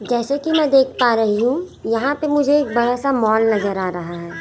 जैसे की मैं देख पा रही हूं यहां पे मुझे एक बड़ासा माल नजर आ रहा है।